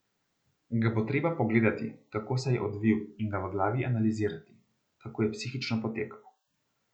Ga bo treba pogledati, kako se je odvil in ga v glavi analizirati, kako je psihično potekal.